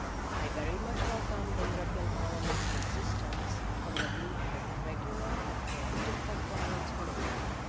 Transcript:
I very much welcome Parliament's insistence on the need for regular and proactive compliance monitoring.